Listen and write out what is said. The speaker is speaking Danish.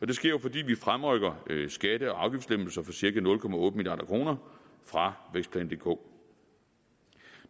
det sker jo fordi vi fremrykker skatte og afgiftslempelser for cirka nul milliard kroner fra vækstplan dk